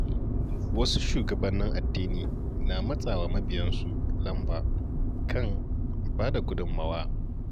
Wasu shugabannin addini na matsa wa mabiyansu lamba kan bada gudunmawa.